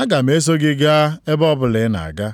aga m eso gị gaa ebe ọbụla ị na-aga.”